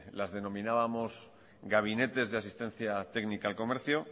las denominábamos gabinetes de asistencia técnica al comercio